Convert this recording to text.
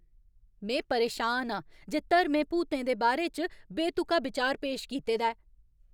में परेशान आं जे धर्में भूतें दे बारे च बेतुका बिचार पेश कीते दा ऐ।